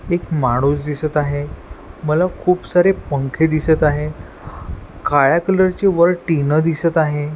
एक माणूस दिसत आहे मला खूप सारे पंखे दिसत आहे काळ्या कलरची वर टीन दिसत आहे.